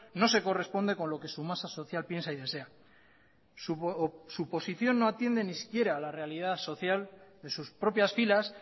no se corresponde con lo que su masa social piensa y desea su posición no atiende siquiera a la realidad social de sus propias filas